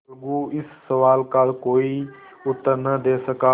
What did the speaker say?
अलगू इस सवाल का कोई उत्तर न दे सका